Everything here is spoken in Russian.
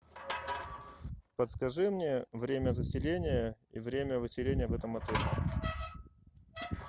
подскажи мне время заселения и время выселения в этом отеле